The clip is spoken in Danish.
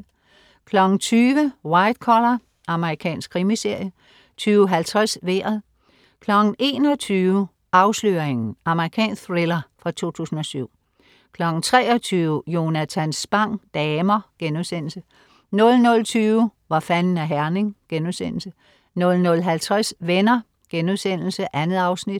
20.00 White Collar. Amerikansk krimiserie 20.50 Vejret 21.00 Afsløringen. Amerikansk thriller fra 2007 23.00 Jonatan Spang: Damer* 00.20 Hvor fanden er Herning?* 00.50 Venner.* 2 afsnit